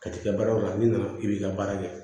Ka t'i ka baaraw la n'i nana i b'i ka baara kɛ